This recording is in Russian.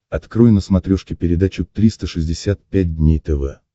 открой на смотрешке передачу триста шестьдесят пять дней тв